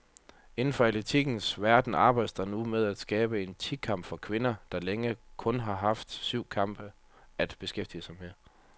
Inden for atletikkens verden arbejdes der nu med at skabe en ti kamp for kvinder, der længe kun har haft syvkamp at beskæftige med.